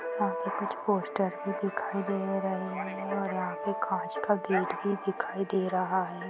यहाँ पे कुछ पोस्ट भी दिखाई दे रहे हैं और आपके कांच का गेट भी दिखाई दे रहा है।